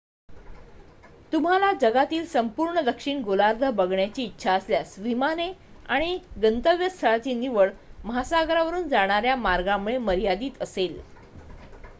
तुम्हाला जगातील संपूर्ण दक्षिण गोलार्ध बघण्याची इच्छा असल्यास विमाने आणि गंतव्यस्थळांची निवड महासागरावरून जाणाऱ्या मार्गांमुळे मर्यादीत असेल